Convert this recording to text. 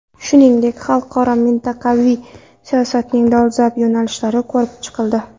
Shuningdek, xalqaro va mintaqaviy siyosatning dolzarb yo‘nalishlari ko‘rib chiqildi.